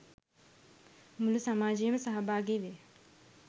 මුළු සමාජයම සහභාගි වේ.